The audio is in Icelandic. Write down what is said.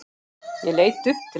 Ég leit upp til hans.